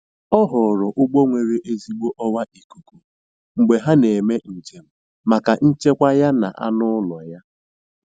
Ọ họọrọ ụgbọ nwere ezigbo ọwa ikuku mgbe ha na-eme njem maka nchekwa ya na anụ ụlọ ya